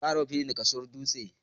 Za a raba filin da kasuwar dutse.